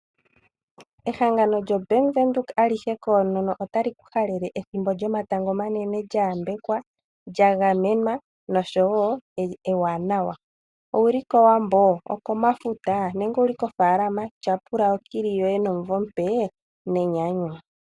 Ehangano djo Bank Windhoek alihe koonono ota li ku halele ethimbo djoma tango omanene dja yambekwa, dja gamenwa nosho woo ewanawa. Owuli ko wambo, oko mafuta nenge oko faalama? Tyapula okili yoye nomuvo omupe ne nyanyu.